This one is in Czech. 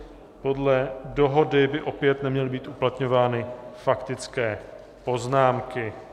Podle dohody by opět neměly být uplatňovány faktické poznámky.